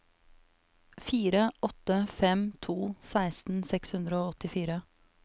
fire åtte fem to seksten seks hundre og åttifire